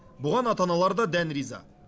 бұған ата аналар да дән риза